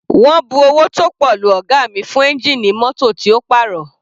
Wọ́n bu owó tó pọ̀ lu ọ̀ga mi fún ẹ́ngìnì mótò tí ó pàrọ̀.